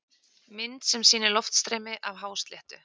Mynd sem sýnir loftstreymi af hásléttu.